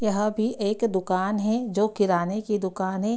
यह भी एक दुकान हें जो किराने की दुकान हें।